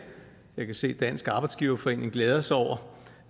jeg kan se dansk arbejdsgiverforening glæder sig over